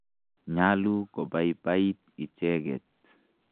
Nyalu kopaipait icheket.